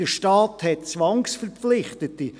Der Staat hat Zwangsverpflichtete.